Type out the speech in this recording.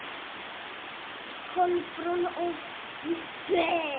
Kolbrún og Gísli.